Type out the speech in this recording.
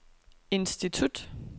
institut